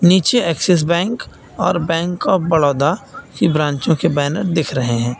नीचे Axis bank और bank of Baroda की ब्रांचो के बैनर दिख रहे हैं।